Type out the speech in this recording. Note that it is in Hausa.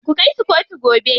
Ku kai su kotu gobe.